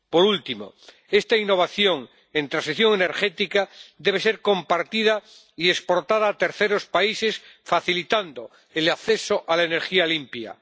Por último, esta innovación en transición energética debe ser compartida y exportada a terceros países, facilitando el acceso a la energía limpia.